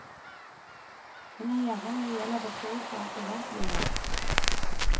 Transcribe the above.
Hun er gjerrig når det gjelder betroelser om privatlivet.